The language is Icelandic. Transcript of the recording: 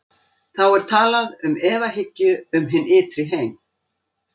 Þá er talað um efahyggju um hinn ytri heim.